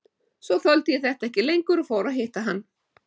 Svo þoldi ég þetta ekki lengur og fór að hitta hann.